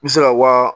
I bɛ se ka wa